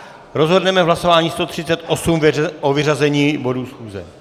Rozhodneme v hlasování 138 o vyřazení bodů schůze.